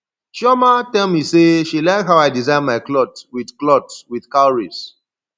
chioma tell me say she like how i design my cloth wit cloth wit cowries